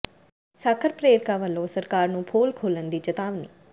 ਸਾਖ਼ਰ ਪ੍ਰੇਰਕਾਂ ਵੱਲੋਂ ਸਰਕਾਰ ਨੂੰ ਪੋਲ ਖੋਲ੍ਹਣ ਦੀ ਚਿਤਾਵਨੀ